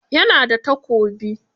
Ya na da takobi?